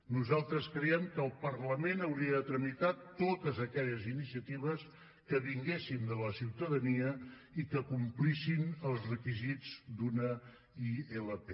nosaltres creiem que el parlament hauria de tramitar totes aquelles iniciatives que vinguessin de la ciutadania i que complissin els requisits d’una ilp